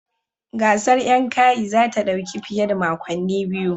Gasar Yankayi za ta dauki fiye da makonni biyu